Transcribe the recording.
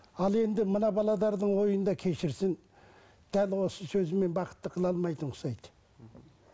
ал енді мына ойында кешірсін дәл осы сөзімен бақытты қыла алмайтынға ұқсайды